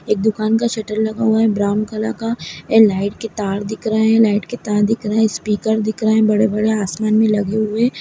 एक दुकान का शटर लगा हुआ ब्राउन कलर का ए लाइट के तार दिख रहे लाइट के तार दिख रहे है स्पीकर दिख रहा है बड़ा-बड़ा आसमान में लगा हुए।